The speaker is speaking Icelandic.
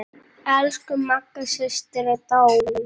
Elsku Magga systir er dáin.